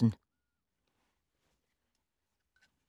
Af Pia Grøndahl Jørgensen